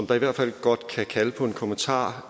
der i hvert fald godt kan kalde på en kommentar